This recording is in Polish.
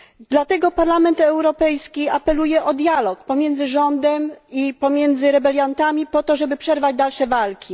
Dlatego Parlament Europejski apeluje o dialog pomiędzy rządem i rebeliantami po to, żeby przerwać dalsze walki.